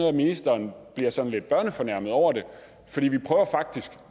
at ministeren bliver sådan lidt børnefornærmet over det